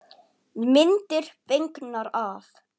Myndir fengnar af